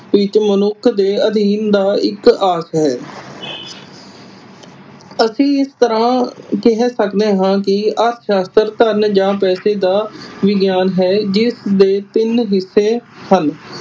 ਕਿ ਤੂੰ ਮਨੁੱਖ ਦੇ ਅਧੀਨ ਦਾ ਇਕ ਆਸ ਹੈ doctor ਮਾਰਸ਼ਲ ਅਸੀਂ ਇਸ ਤਰਾਂ ਕਹਿ ਸਕਦੇ ਹਾਂ ਕਿ ਅਰਥ ਸ਼ਾਸਤਰ ਧਨ ਜਾ ਪੈਸੇ ਦਾ ਵਿਗਿਆਨ ਹੈ ਜਿਸ ਦੇ ਤਿੰਨ ਹਿੱਸੇ ਹਨ।